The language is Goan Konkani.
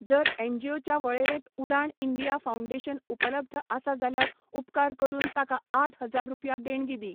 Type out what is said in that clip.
जर एनजीओच्या वळेरेंत उडाण इंडिया फाउंडेशन उपलब्ध आसा जाल्यार उपकार करून ताका आठ हजार रुपया देणगी दी.